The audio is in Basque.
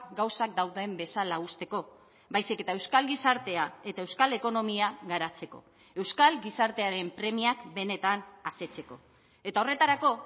gauzak dauden bezala uzteko baizik eta euskal gizartea eta euskal ekonomia garatzeko euskal gizartearen premiak benetan asetzeko eta horretarako